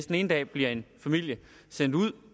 den ene dag bliver en familie sendt ud